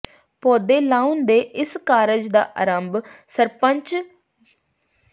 ਪੌਦੇ ਲਾਉਣ ਦੇ ਇਸ ਕਾਰਜ ਦਾ ਆਰੰਭ ਸਰਪੰਚ ਗੁ